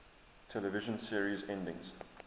television series endings